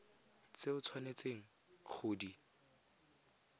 tse o tshwanetseng go di